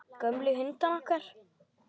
Gömlu hundana okkar.